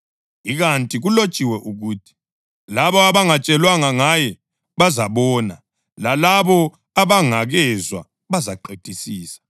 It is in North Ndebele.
Ikanti kulotshiwe ukuthi: “Labo abangatshelwanga ngaye bazabona, lalabo abangakezwa bazaqedisisa.” + 15.21 U-Isaya 52.15